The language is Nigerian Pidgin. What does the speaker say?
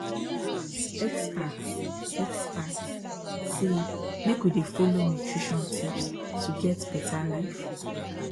experts experts say make we dey follow nutrition tips to get better life